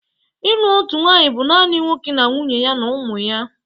Ịlụ otu nwanyị bụ naanị nwoke na nwunye ya na ụmụ ya